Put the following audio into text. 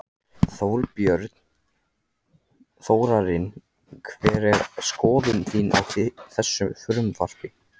Þorbjörn: Þórarinn hver er skoðun þín á þessu frumvarpi?